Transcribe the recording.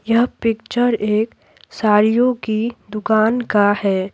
यह पिक्चर एक साड़ियों की दुकान का है।